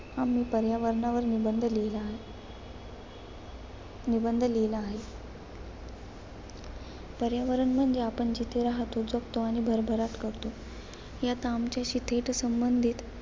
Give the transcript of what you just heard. आम्ही पर्यावरणावर निबंध लिहिला. निबंध लिहिला आहे. पर्यावरण म्हणजे आपण जिथे राहतो, जगतो आणि भरभराट करतो. याचा आमच्याशी थेट संबंधित